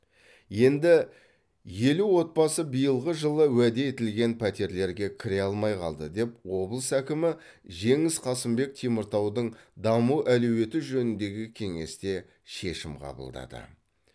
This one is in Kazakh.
енді елу отбасы биылғы жылы уәде етілген пәтерлерге кіре алмай қалды деп облыс әкімі жеңіс қасымбек теміртаудың даму әлеуеті жөніндегі кеңесте шешім қабылдады